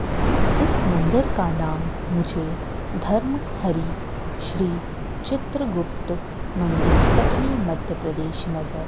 इस मंदिर का नाम मुझे धर्म हरी श्री चित्रगुप्त मंदिर कटनी मध्य प्रदेश नगर --